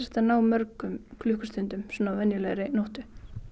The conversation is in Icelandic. að ná mörgum klukkustundum á venjulegri nóttu